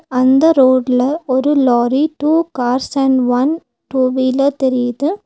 அந்த ரோட்ல ஒரு lorry two cars and one two wheeler தெரியிது.